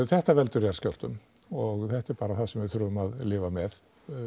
þetta veldur jarðskjálftum og þetta er bara það sem við þurfum að lifa með